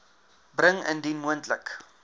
bring indien moontlik